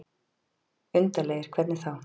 Undarlegir. hvernig þá?